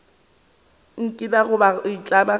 ikana goba go itlama gore